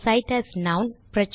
இந்த cite as நான்